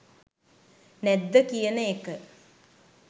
නැද්ද කියන එක